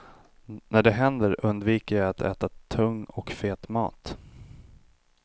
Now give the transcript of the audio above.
När det händer undviker jag att äta tung och fet mat.